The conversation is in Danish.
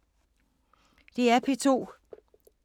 DR P2